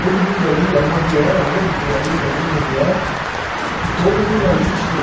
Todo mundo ali, era uma viela mesmo, vinha a rua e fazia uma viela, e todo mundo ali tinha